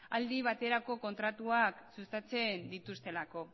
aldi baterako kontratuak sustatzen dituztelako